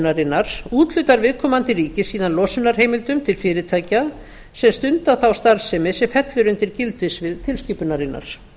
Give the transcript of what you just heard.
landsbundnu úthlutunaráætlunarinnar úthlutar viðkomandi ríki síðan losunarheimildum til fyrirtækjasem stundar þá starfsemi sem fellur undir gildissvið tilskipunarinnar